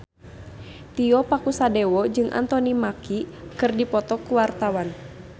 Tio Pakusadewo jeung Anthony Mackie keur dipoto ku wartawan